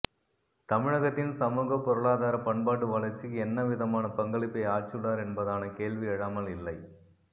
தமிழகத்தின் சமூக பொருளாதார பண்பாட்டு வளர்ச்சிக்கு என்ன விதமான பங்களிப்பை ஆற்றியுள்ளார் என்பதான கேள்வி எழாமல் இல்லை